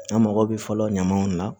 An mago bɛ fɔlɔ ɲamanw na